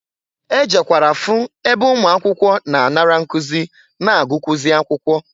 E jekwara fụ ebe ụmụakwụkwọ na-anara nkụzị na agụkwụzị akwụkwọ.